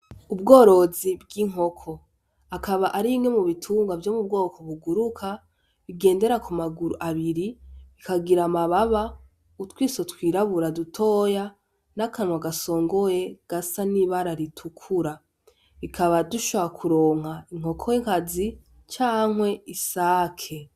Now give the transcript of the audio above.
Ubworozi bw'inkoko akaba arimwe mu bitungwa vyo mu bwoko buguruka igendera ku maguru abiri ikagira amababa utwiso twirabura dutoya n'akanwa gasongoye gasa nibara ritukura ikaba dushobora kuronka inkoko kazi canke isake.